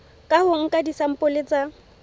ka ho nka disampole tsa